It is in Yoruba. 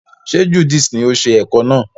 Ṣe Judith ni o ṣe ẹ̀ko náà?